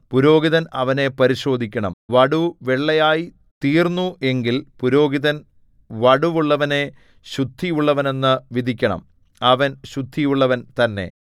പുരോഹിതൻ അവനെ പരിശോധിക്കണം വടു വെള്ളയായി തീർന്നു എങ്കിൽ പുരോഹിതൻ വടുവുള്ളവനെ ശുദ്ധിയുള്ളവനെന്നു വിധിക്കണം അവൻ ശുദ്ധിയുള്ളവൻ തന്നെ